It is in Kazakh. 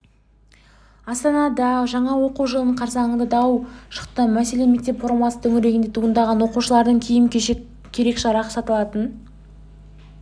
астанада жаңа оқу жылы қарсаңында дау шықты мәселе мектеп формасы төңірегінде туындаған оқушылардың киім-кешек керек-жарағы сатылатын